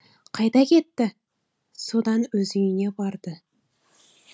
қайда кетті содан өз үйіне барды